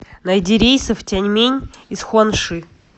найди рейсы в тяньмэнь из хуанши